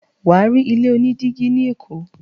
Wà á rí ilé oní dígí ní Èkó.